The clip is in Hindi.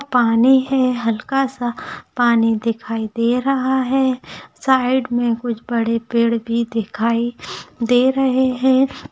पानी है हलका सा पानी दिखाई दे राहा है साइड मे कुछ बड़े पेड़ भी दिखाई दे रहे है।